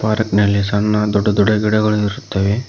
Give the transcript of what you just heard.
Park ನಲ್ಲಿ ಸಣ್ಣ ದೊಡ್ಡ ದೊಡ್ಡ ಗಿಡಗಳಿರುತ್ತವೆ.